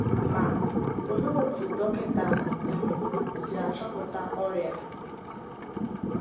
Ma, olee otú dọkịta um si achọpụta ọrịa?